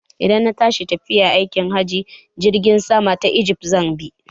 Idan na tashi tafiya aikin hajji, Jirgin saman ijift zan bi.